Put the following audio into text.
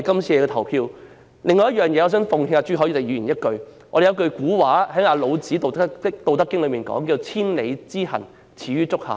此外，我想奉勸朱凱廸議員一句，老子《道德經》有一句古話："千里之行，始於足下"。